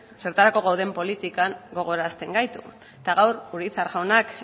zertarako gauden politika gogorazten gaitu eta gaur urizar jaunak